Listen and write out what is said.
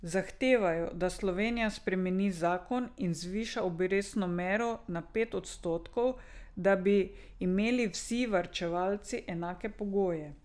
Zahtevajo, da Slovenija spremeni zakon in zviša obrestno mero na pet odstotkov, da bi imeli vsi varčevalci enake pogoje.